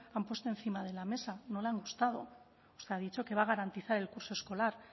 han puesto encima de la mesa no le han gustado usted ha dicho que va a garantizar el curso escolar